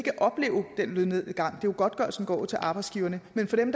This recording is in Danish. opleve den lønnedgang for godtgørelsen går jo til arbejdsgiverne